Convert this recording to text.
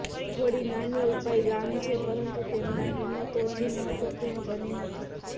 થોડી નાની ઉપાય ગામ છે પરંતુ તેમના કિંમત ઓછી મહત્વપૂર્ણ બની નથી